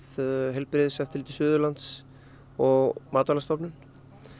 heilbrigðiseftirliti Suðurlands og Matvælastofnun